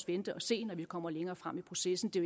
vente og se når vi kommer længere frem i processen det